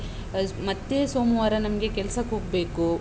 ಮತ್ತೆ ಸೋಮವಾರ ನಮ್ಗೆ ಕೆಲ್ಸಕ್ ಹೋಗ್ಬೇಕು.